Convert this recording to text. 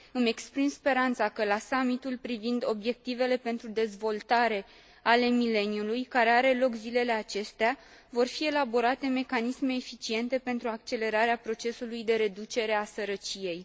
Îmi exprim speranța că la Summitul privind Obiectivele pentru Dezvoltare ale Mileniului, care are loc zilele acestea, vor fi elaborate mecanisme eficiente pentru accelerarea procesului de reducere a sărăciei.